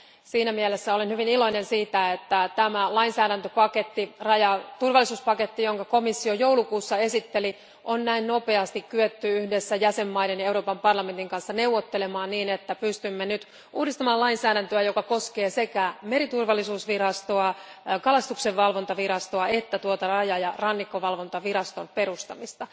Siinä mielessä olen hyvin iloinen siitä, että tämä lainsäädäntöpaketti, rajaturvallisuuspaketti, jonka komissio joulukuussa esitteli, on näin nopeasti kyetty yhdessä jäsenmaiden ja Euroopan parlamentin kanssa neuvottelemaan ja pystymme nyt uudistamaan lainsäädäntöä, joka koskee sekä meriturvallisuusvirastoa, kalastuksenvalvontavirastoa että raja ja rannikkovalvontaviraston perustamista.